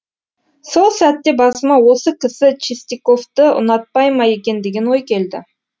сол сәтте басыма осы кісі чистяковті ұнатпай ма екен деген ой келді